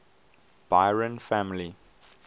byron family